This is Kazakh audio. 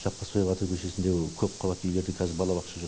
жаппасбай батыр көшесіндегі көпқабатты үйлерде қазір балабақша жоқ